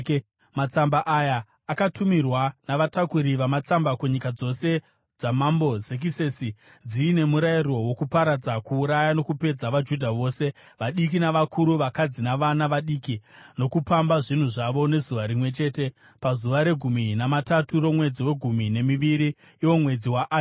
Matsamba aya akatumirwa navatakuri vamatsamba kunyika dzose dzamambo Zekisesi dziine murayiro wokuparadza, kuuraya, nokupedza vaJudha vose, vadiki navakuru, vakadzi navana vadiki, nokupamba zvinhu zvavo, nezuva rimwe chete, pazuva regumi namatatu romwedzi wegumi nemiviri, iwo mwedzi waAdha.